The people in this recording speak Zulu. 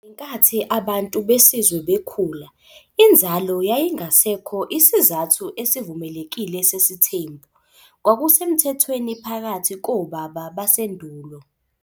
Ngenkathi abantu besizwe bekhula, inzalo yayingasekho isizathu esivumelekile sesithembu- "kwakusemthethweni phakathi kobaba basendulo.